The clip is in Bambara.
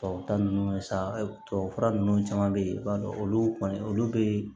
Tubabuta ninnu sa tubabu fura nunnu caman be ye i b'a dɔn olu kɔni olu be